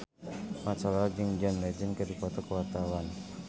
Mat Solar jeung John Legend keur dipoto ku wartawan